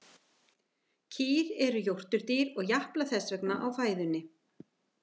Kýr eru jórturdýr og japla þess vegna á fæðunni.